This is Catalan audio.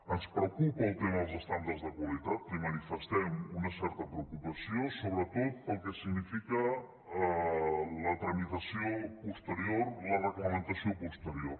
ens preocupa el tema dels estàndards de qualitat li manifestem una certa preocupació sobretot pel que significa la tramitació posterior la reglamentació posterior